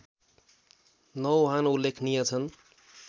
नौवहन उल्लेखनीय छन्